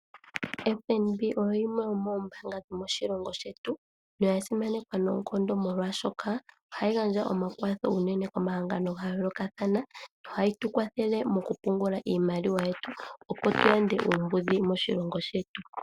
FNB oyo yimwe yomoombanga dhomo shilongo shetu no ya simanekwa unene noonkondo molwashoka oha yi gandja omakwatho unene komahangano, oko woo hatu pungula iimaliwa yetu opo tu yande uumbudhi moshilongo shetu.